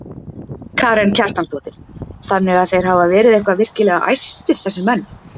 Karen Kjartansdóttir: Þannig að þeir hafa verið eitthvað virkilega æstir þessir menn?